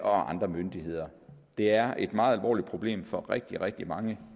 og andre myndigheder det er et meget alvorligt problem for rigtig rigtig mange